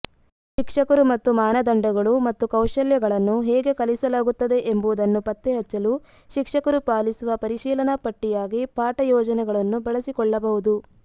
ಶಿಕ್ಷಕರು ಮತ್ತು ಮಾನದಂಡಗಳು ಮತ್ತು ಕೌಶಲ್ಯಗಳನ್ನು ಹೇಗೆ ಕಲಿಸಲಾಗುತ್ತದೆ ಎಂಬುದನ್ನು ಪತ್ತೆಹಚ್ಚಲು ಶಿಕ್ಷಕರು ಪಾಲಿಸುವ ಪರಿಶೀಲನಾಪಟ್ಟಿಯಾಗಿ ಪಾಠ ಯೋಜನೆಗಳನ್ನು ಬಳಸಿಕೊಳ್ಳಬಹುದು